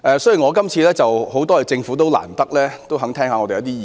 雖然如此，我亦要感謝政府聽取我們的意見。